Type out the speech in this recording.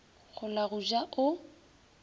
go la go ja o